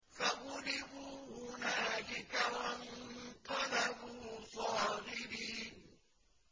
فَغُلِبُوا هُنَالِكَ وَانقَلَبُوا صَاغِرِينَ